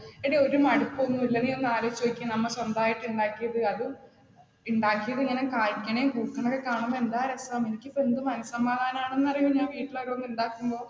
എടി ഒരു മടുപ്പ് ഒന്നുമില്ല നീ ഒന്ന് ആലോചിച്ചു നോക്കിയേ നമ്മൾ സ്വന്തമായിട്ട് ഉണ്ടാക്കിയത് അത്, ഉണ്ടാക്കിയത് എങ്ങനെ കായിക്കണേം പൂക്കണേം കാണുമ്പോൾ എന്താ രസം, എനിക്കിപ്പോ എന്ത് മന സമാധാനണെന്ന് അറിയോ ഞാൻ വീട്ടിൽ ഓരോന്ന് ഉണ്ടാകുമ്പോൾ.